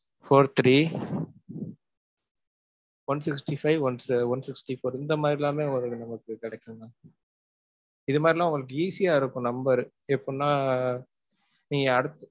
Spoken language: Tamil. Four-three one sixty five, one, one-sixty-four இந்த மாதிரிலாமே உங்களுக்கு ரெண்டு numbers கெடைக்கும் mam. இந்த மாதிரினா உங்களுக்கு easy ஆ இருக்கும் number ரு.